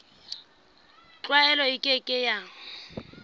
tlwaelo e ke ke ya